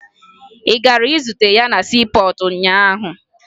Ị gara zute ya na siipọọtụ ụnyaahụ?